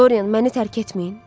Dorian, məni tərk etməyin.